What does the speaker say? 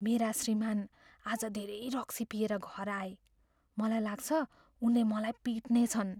मेरा श्रीमान् आज धेरै रक्सी पिएर घर आए। मलाई लाग्छ उनले मलाई पिट्नेछन्।